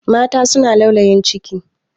Mata suna laulayin ciki.